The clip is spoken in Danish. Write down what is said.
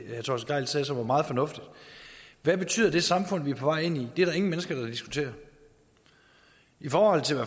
han sagde som var meget fornuftigt hvad betyder det samfund vi er på vej ind det er der ingen mennesker der diskuterer i forhold til